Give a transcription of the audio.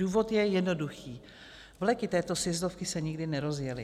Důvod je jednoduchý: vleky této sjezdovky se nikdy nerozjely.